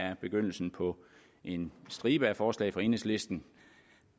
er begyndelsen på en stribe af forslag fra enhedslisten